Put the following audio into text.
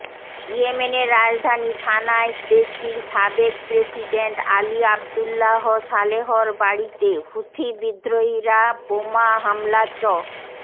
ইয়েমেনের রাজধানী সানায় দেশটির সাবেক প্রেসিডেন্ট আলি আব্দুল্লাহ সালেহর বাড়িতে হুথি বিদ্রোহীরা বোমা হামলা চ